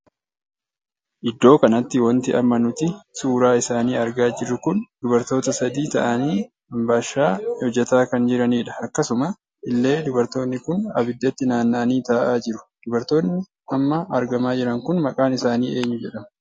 Iddoo kanatti wanti amma nuti suuraa isaanii argaa jirru kun dubartoota sadii taa'anii anbaashaa hojjetaa kan jiranidha. akkasuma illee dubartoonni kun abiddatti naanna'anii taa'aa jiru. dubartoonni amma argamaa jiran kun maqaan isaanii eenyuu jedhamu?